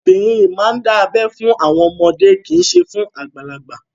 Obìnrin yìí máa ń dà ẹ fún àwọn ọmọdé kì í ṣe fún àwọn àgbàlagbà.